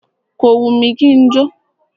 Kò wù mí kí n jó.